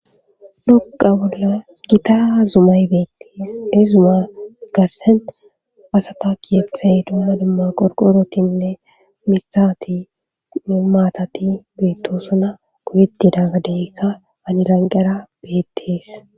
doqa bolla gita zumay beettes he zuma garsent asata kiyephthay duana dimma qorqorotinne misati ni maatati beetto suna kuyetidaggadeykka aniranqera beettees